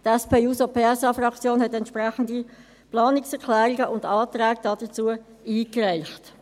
Die SP-JUSO-PSA-Fraktion hat entsprechende Planungserklärungen und Anträge dazu eingereicht.